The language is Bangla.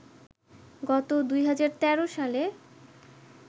গত ২০১৩ সালে